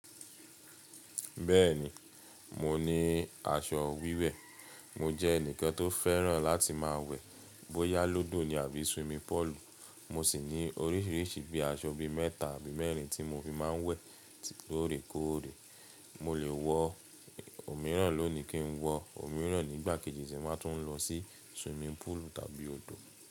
Bẹ́ẹ̀ni, mo ní aṣọ wíwẹ̀. Mo jẹ́ ẹnìkan tó fẹ́ràn láti máa wẹ̀, bóyá lódò ni àbí swimming pool. Mo sì ní orísìírísìí bí i aṣọ ibi mẹ́ta àbí mẹ́rìn tí mo fi máa ń wẹ̀ lóorekóòrè. Mo lè wọ òmíràn lónìí kí n wọ òmíràn nígbà kejì tí mo bá tún lọ sí swimming pool tàbí odò.